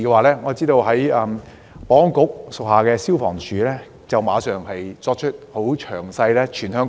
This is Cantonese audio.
就該次事件，保安局轄下的消防處即時對全港迷你倉進行詳細巡查。